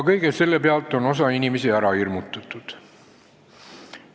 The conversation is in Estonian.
Kõige sellega on aga ka osa inimesi ära hirmutatud.